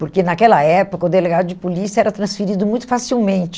Porque naquela época o delegado de polícia era transferido muito facilmente.